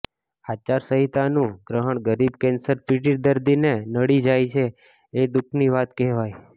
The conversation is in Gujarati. આચારસંહિતાનું ગ્રહણ ગરીબ કેન્સર પીડિત દર્દીને નડી જાય એ દુઃખની વાત કહેવાય